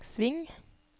sving